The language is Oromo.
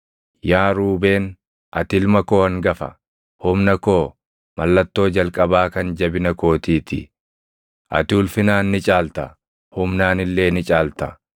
“Yaa Ruubeen, ati ilma koo hangafa; humna koo, mallattoo jalqabaa kan jabina kootii ti; ati ulfinaan ni caalta; humnaan illee ni caalta.